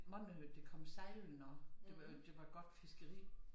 Mange hørte de kom sejlene det var det var godt fiskeri